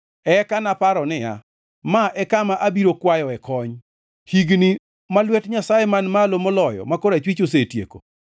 Eka naparo niya, “Ma e kama abiro kwayoe kony: higni ma lwet Nyasaye Man Malo Moloyo ma korachwich osetieko.